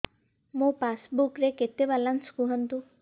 ମୋ ପାସବୁକ୍ ରେ କେତେ ବାଲାନ୍ସ କୁହନ୍ତୁ